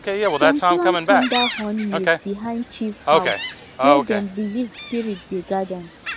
dem plant thunder horn maize behind chief house where dem believe spirit dey guard am